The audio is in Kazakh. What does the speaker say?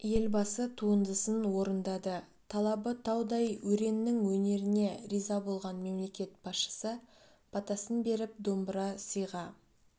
елбасы туындысын орындады талабы таудай өреннің өнеріне риза болған мемлекет басшысы батасын беріп домбыра сыйға